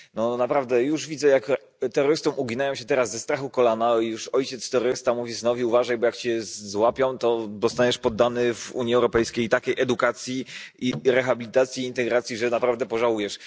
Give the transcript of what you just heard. No, naprawdę, już widzę, jak terrorystom uginają się teraz ze strachu kolana i ojciec terrorysta mówi synowi, uważaj, bo jak się złapią, to zostaniesz poddany w Unii Europejskiej takiej edukacji, rehabilitacji i integracji, że naprawdę pożałujesz.